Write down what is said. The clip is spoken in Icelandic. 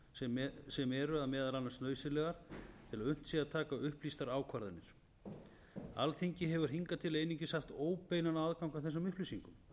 fyrir upplýsingar sem eru meðal annars nauðsynlegar til að unnt sé að taka upplýstar ákvarðanir alþingi hefur hingað til einungis haft óbeinan aðgang að þessum upplýsingum